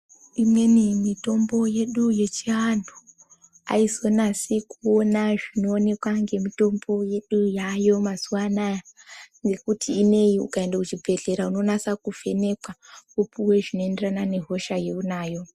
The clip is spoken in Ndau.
Inini mitombo yedu yechiantu aizonasi kuona zvinooneka nemitombo yayo mazuwanaya ngokuti ineyi ukaenda kuchibhedhlera unonyatsovhenekwa wopuwa zvinoenderana nehosha yaunayo.